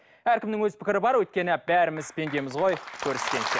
әркімнің өз пікірі бар өйткені бәріміз пендеміз ғой көріскенше